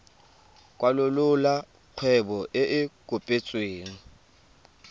kwalolola kgwebo e e kopetsweng